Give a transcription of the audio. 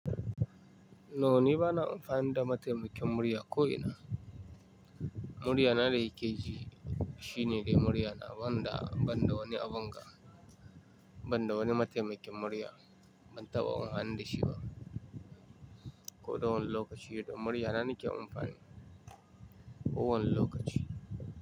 No ni bana amfani da mataimakin murya ko'ina. Muriya na da kike ji, shine dai muriya na banda, banda wani abun ga, banda wani mataimakin murya ban taba amfani dashi ba. Ko da wane lokaci da muriya na nake amfani. Kowane lokaci.